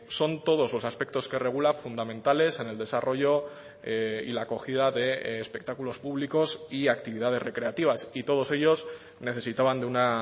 son todos los aspectos que regula fundamentales en el desarrollo y la acogida de espectáculos públicos y actividades recreativas y todos ellos necesitaban de una